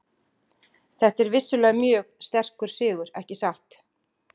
Þetta er vissulega mjög sterkur sigur, ekki satt?